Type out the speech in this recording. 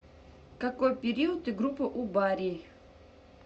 какой период и группа у барий